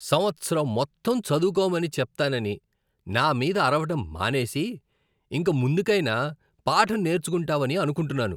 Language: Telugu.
సంవత్సరం మొత్తం చదువుకోమని చెప్తానని నా మీద అరవడం మానేసి, ఇంక ముందుకైనా పాఠం నేర్చుకుంటావని అనుకుంటున్నాను.